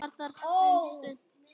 Var þar um stund.